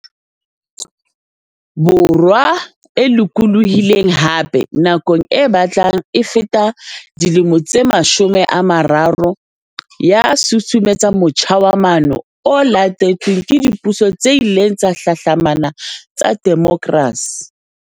Borwa e lokolohi leng, hape, nakong e batlang e feta dilemo tse mashome a mararo, ya susumetsa motjha wa maano o latetsweng ke dipuso tse ileng tsa hlahlamana tsa demokrasi.